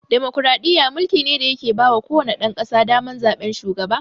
Demokaraɗiyya mulki ne da ya ke bawa ko wane ɗan ƙasa daman zaɓen shugaba